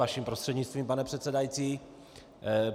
Vaším prostřednictvím, pane předsedající.